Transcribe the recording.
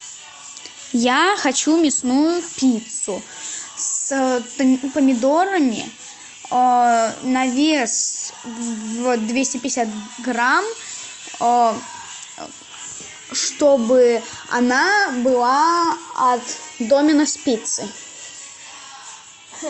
я хочу мясную пиццу с помидорами на вес двести пятьдесят грамм чтобы она была от доминос пиццы